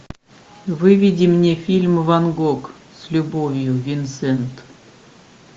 выведи мне фильм ван гог с любовью винсент